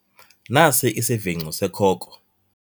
Nasi isivingco sekhoko.